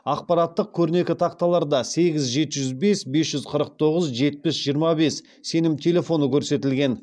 ақпараттық көрнекі тақталарда сегіз жеті жүз бес бес жүз қырық тоғыз жетпіс жиырма бес сенім телефоны көрсетілген